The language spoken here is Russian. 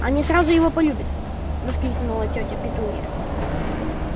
они сразу его полюбят воскликнула тётя петунья